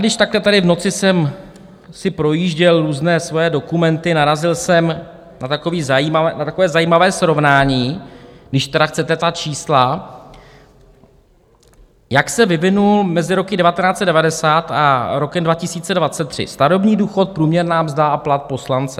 Když takhle tady v noci jsem si projížděl různé svoje dokumenty, narazil jsem na takové zajímavé srovnání, když tedy chcete ta čísla, jak se vyvinul mezi rokem 1990 a rokem 2023 starobní důchod, průměrná mzda a plat poslance.